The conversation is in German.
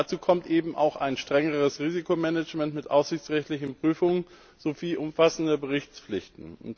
Dazu kommt eben auch ein strengeres Risikomanagement mit aufsichtsrechtlichen Prüfungen sowie umfassende Berichtspflichten.